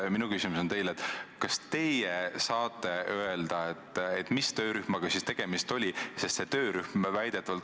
Minu küsimus teile on järgmine: kas teie saate öelda, mis töörühmaga tegemist oli?